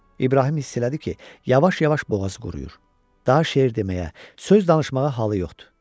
İbrahim hiss elədi ki, yavaş-yavaş boğazı quruyur, daha şeir deməyə, söz danışmağa halı yoxdur.